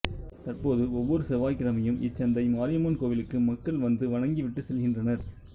தற்போது ஒவ்வொரு செவ்வாய்கிழமையும் இச்சந்தை மாரியம்மன் கோவிலுக்கு மக்கள் வந்து வணங்கிவிட்டு செல்கின்றனர்